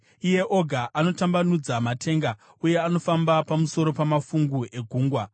Iye oga anotambanudza matenga uye anofamba pamusoro pamafungu egungwa.